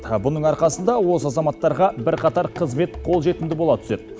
бұның арқасында осы азаматтарға бірқатар қызмет қолжетімді бола түседі